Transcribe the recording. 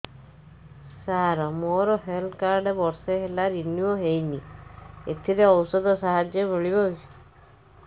ସାର ମୋର health card ବର୍ଷେ ହେଲା ରିନିଓ ହେଇନି ଏଥିରେ ଔଷଧ ସାହାଯ୍ୟ ମିଳିବ